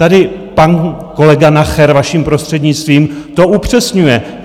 Tady pan kolega Nacher, vaším prostřednictvím, to upřesňuje.